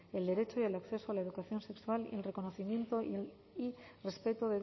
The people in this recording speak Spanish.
el derecho y el acceso a la educación sexual el reconocimiento y respeto